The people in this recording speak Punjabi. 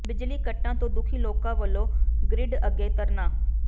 ਬਿਜਲੀ ਕੱਟਾਂ ਤੋਂ ਦੁਖੀ ਲੋਕਾਂ ਵੱਲੋਂ ਗਰਿੱਡ ਅੱਗੇ ਧਰਨਾ